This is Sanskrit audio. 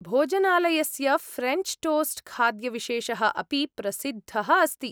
भोजनालयस्य फ्रेञ्च् टोस्ट्खाद्यविशेषः अपि प्रसिद्धः अस्ति।